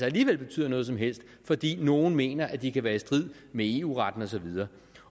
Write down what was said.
alligevel betyder noget som helst fordi nogle mener at de kan være i strid med eu retten og så videre